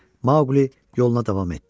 Maqlı yoluna davam etdi.